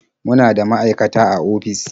Muna da maaikata a ofis.